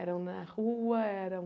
Eram na rua, eram...